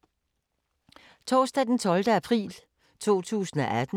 Torsdag d. 12. april 2018